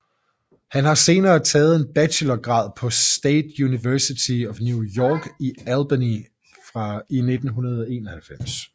Han har senere taget en bachelorgrad på State University of New York i Albany i 1991